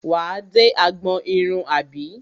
Wà á dé agbọn irun àbí?